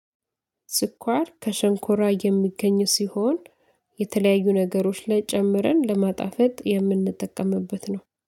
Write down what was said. ስኳር ከሸንኮራ የሚገኝ ሲሆን የተለያዩ ነገሮች ላይ ጨምረን ለማጣፈጥ የምንጠቀምበት ነው